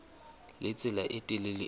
le tsela e telele eo